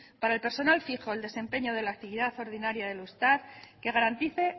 para el personal fijo el desempeño de la actividad ordinaria del eustat que garantice